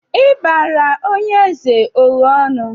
Ịbarị onye eze o ghe ọnụ?